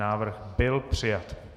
Návrh byl přijat.